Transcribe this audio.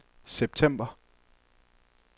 september